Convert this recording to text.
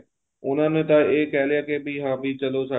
ਉਹਨਾ ਨੇ ਤਾਂ ਏ ਕਹਿ ਲਿਆ ਕੇ ਹਾਂ ਵੀ ਚਲੋਂ ਸਾਡੀ